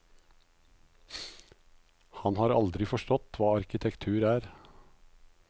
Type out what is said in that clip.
Han har aldri forstått hva arkitektur er.